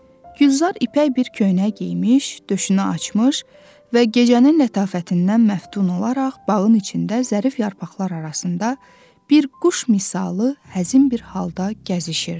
Gülzar ipək bir köynək geyinmiş, döşünü açmış və gecənin lətafətindən məftun olaraq bağın içində zərif yarpaqlar arasında bir quş misalı həzin bir halda gəzişirdi.